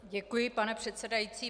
Děkuji, pane předsedající.